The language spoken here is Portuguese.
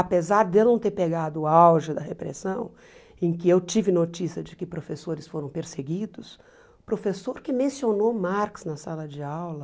Apesar de eu não ter pegado o auge da repressão, em que eu tive notícia de que professores foram perseguidos, o professor que mencionou Marx na sala de aula